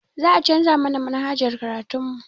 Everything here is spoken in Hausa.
Za a canza mana manhajar karatun mu